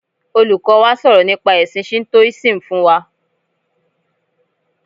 Olùkọ́ wa sọ̀rọ̀ nípa ẹ̀sin Shintoism fún wa.